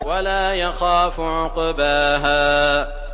وَلَا يَخَافُ عُقْبَاهَا